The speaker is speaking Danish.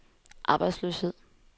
arbejdsløshed